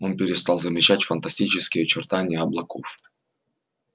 он перестал замечать фантастические очертания облаков